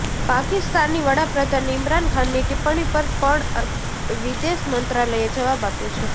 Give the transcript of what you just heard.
પાકિસ્તાની વડાપ્રધાન ઇમરાન ખાનની ટિપ્પણી પર પણ વિદેશ મંત્રાલયે જવાબ આપ્યો છે